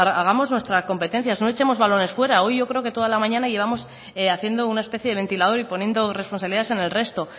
hagamos nuestras competencias no echemos balones fuera hoy yo creo que toda la mañana llevamos haciendo una especie de ventilador y poniendo responsabilidades en el resto